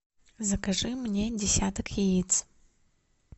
закажи мне десяток яиц